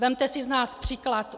Vezměte si z nás příklad!